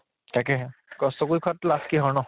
তাকে হে কষ্ট কৰি খোৱাত লাজ কিহৰ ন